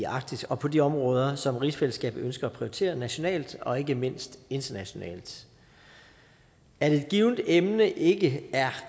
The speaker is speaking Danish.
arktis og på de områder som rigsfællesskabet ønsker at prioritere nationalt og ikke mindst internationalt at et givent emne ikke er